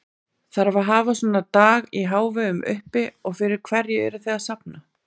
Þarf að hafa svona dag í hávegum uppi og fyrir hverju eruð þið að safna?